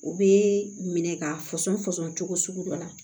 U bɛ minɛ k'a fɔsɔn fɔsɔn cogo sugu dɔ la